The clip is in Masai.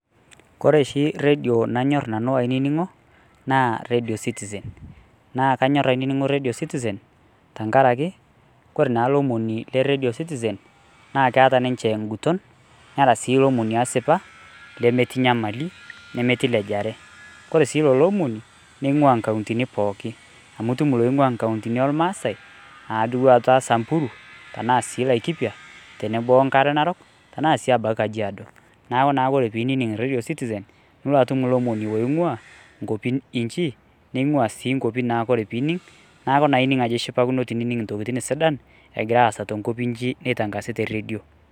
koreshi redio nanyorr nanu ainining'o naa radio citizen naa kanyorr ainining'o radio citizen tankarake kore naa lomoni le radio citizen naa keata ninche inguton neata sii ilomoni easipa lemetii nyamali nemetii lejare kore sii lolo omoni neing'ua inkauntini pooki amu itum iloing'ua inkauntini elmaasae adua ata samburu tenaa sii laikipia tenebo wonkare narok tenaa sii abaki kajiado naaku naa ore pinining radion citizen nulo atum ilomonii oing'ua inkuapin inchi neing'ua sii inkuapi naa kore pining naku naa ining ajo ishipakino tinining intokitin sidan egira aasa tenkop inchi neitangasi te redio.